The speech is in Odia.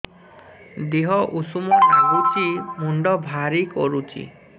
ଦିହ ଉଷୁମ ନାଗୁଚି ମୁଣ୍ଡ ଭାରି କରୁଚି